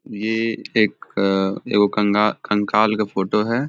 ये एक अ एगो कंग कंकाल के फोटो है।